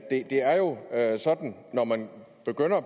når man begynder